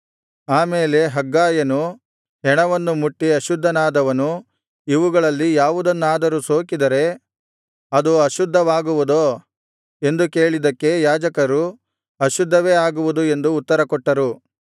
ಆ ಮೇಲೆ ಹಗ್ಗಾಯನು ಹೆಣವನ್ನು ಮುಟ್ಟಿ ಅಶುದ್ಧನಾದವನು ಇವುಗಳಲ್ಲಿ ಯಾವುದನ್ನಾದರು ಸೋಕಿದರೆ ಅದು ಅಶುದ್ಧವಾಗುವುದೋ ಎಂದು ಕೇಳಿದ್ದಕ್ಕೆ ಯಾಜಕರು ಅಶುದ್ಧವೇ ಆಗುವುದು ಎಂದು ಉತ್ತರಕೊಟ್ಟರು